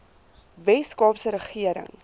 wes kaapse regering